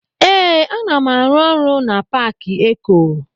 Ee, ana m arụ ọrụ na paaki eko.